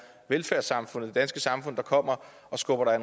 velfærdssamfundet det danske samfund der kommer og skubber dig